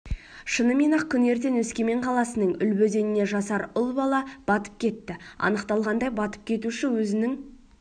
шынымен-ақ күні ертең өскемен қаласының үлбі өзеніне жасар ұл бала батып кетті анықталғандай батып кетуші өзінің